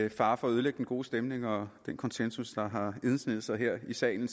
med fare for at ødelægge den gode stemning og den konsensus der har indsneget sig her i salen